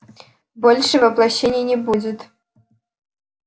больше воплощений не будет